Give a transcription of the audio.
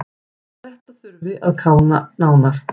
Þetta þurfi að kanna nánar.